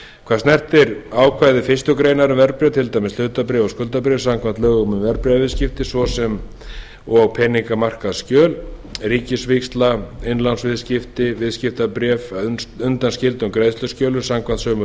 hvað snertir ákvæði fyrstu grein um verðbréf til dæmis hlutabréf og skuldabréf samkvæmt lögum um verðbréfaviðskipti svo og peningamarkaðsskjöl svo sem ríkisvíxla innlánsviðskipti og viðskiptabréf að undanskildum greiðsluskjölum samkvæmt sömu